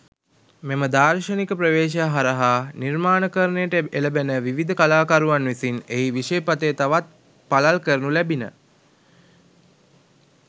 මෙම දාර්ශනික ප්‍රවේශය හරහා නිර්මාණකරණයට එළඹෙන විවිධ කලාකරුවන් විසින් එහි විෂය පථය තවත් පළල් කරනු ලැබිණ.